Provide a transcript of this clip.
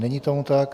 Není tomu tak.